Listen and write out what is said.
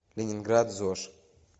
ленинград зож